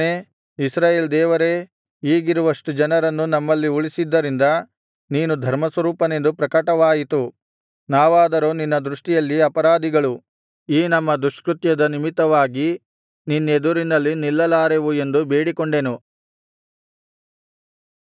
ಯೆಹೋವನೇ ಇಸ್ರಾಯೇಲ್ ದೇವರೇ ಈಗಿರುವಷ್ಟು ಜನರನ್ನು ನಮ್ಮಲ್ಲಿ ಉಳಿಸಿದ್ದರಿಂದ ನೀನು ಧರ್ಮಸ್ವರೂಪನೆಂದು ಪ್ರಕಟವಾಯಿತು ನಾವಾದರೋ ನಿನ್ನ ದೃಷ್ಟಿಯಲ್ಲಿ ಅಪರಾಧಿಗಳು ಈ ನಮ್ಮ ದುಷ್ಕೃತ್ಯದ ನಿಮಿತ್ತವಾಗಿ ನಿನ್ನೆದುರಿನಲ್ಲಿ ನಿಲ್ಲಲಾರೆವು ಎಂದು ಬೇಡಿಕೊಂಡೆನು